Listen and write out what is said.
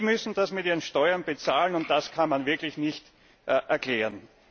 Sie müssen das mit ihren Steuern bezahlen, und das kann man wirklich nicht erklären.